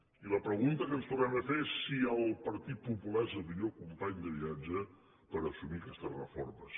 i la pregunta que ens tornem a fer és si el partit popular és el millor company de viatge per assumir aquestes reformes